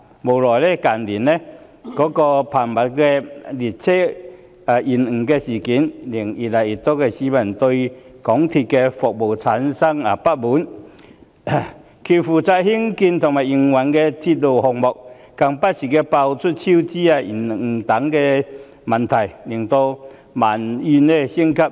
無奈的是，近日頻密的列車延誤事件，令越來越多市民對港鐵公司的服務有所不滿，而港鐵公司負責興建和營運的鐵路項目更不時被揭發超支及工程延誤等問題，以致民怨升級。